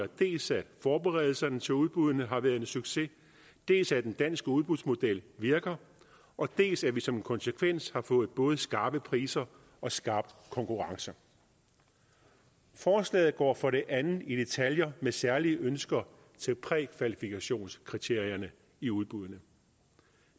dels at forberedelserne til udbuddene har været en succes dels at den danske udbudsmodel virker og dels at vi som konsekvens har fået både skarpe priser og skarp konkurrence forslaget går for det andet i detaljer med særlige ønsker til prækvalifikationskriterierne i udbuddene